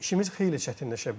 İşimiz xeyli çətinləşə bilər.